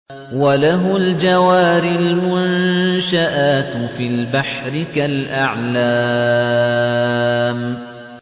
وَلَهُ الْجَوَارِ الْمُنشَآتُ فِي الْبَحْرِ كَالْأَعْلَامِ